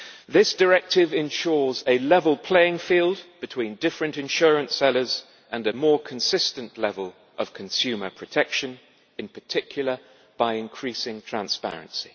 This directive ensures a level playing field between different insurance sellers and a more consistent level of consumer protection, in particular by increasing transparency.